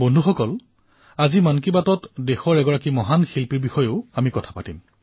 বন্ধুসকল আজিৰ মন কী বাতত দেশৰ সেই মহান ব্যক্তিত্বৰ বিষয়ে মই উল্লেখ কৰিম